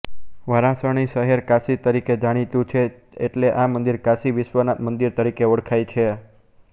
વારાણસી શહેર કાશી તરીકે જાણીતું છે એટલે આ મંદિર કાશી વિશ્વનાથ મંદિર તરીકે ઓળખાય છે